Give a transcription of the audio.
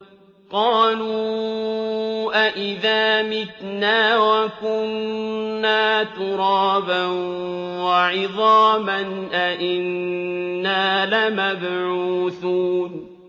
قَالُوا أَإِذَا مِتْنَا وَكُنَّا تُرَابًا وَعِظَامًا أَإِنَّا لَمَبْعُوثُونَ